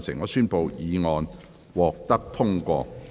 我宣布議案獲得通過。